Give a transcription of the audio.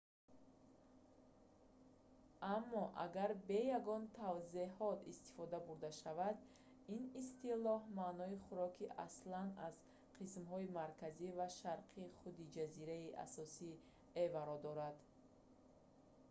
аммо агар бе ягон тавзеҳот истифода бурда шавад ин истилоҳ маънои хӯроки аслан аз қисмҳои марказӣ ва шарқии худи ҷазираи асосии яваро дорад